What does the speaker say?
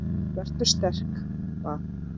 Vertu sterk- bað